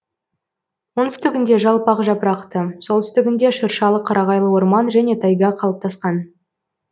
оңтүстігінде жалпақ жапырақты солтүстігінде шыршалы қарағайлы орман және тайга қалыптасқан